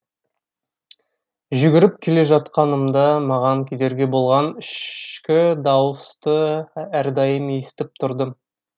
жүгіріп келе жатқанымда маған кедергі болған ішкі дауысты әрдайым естіп тұрдым